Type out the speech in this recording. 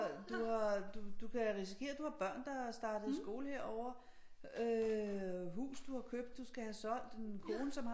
Du har du kan risikere at du har børn der er startet i skole herovre øh hus du har købt du skal have solgt en kone som har